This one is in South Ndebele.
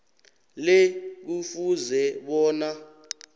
le kufuze bona